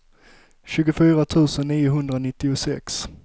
tjugofyra tusen niohundranittiosex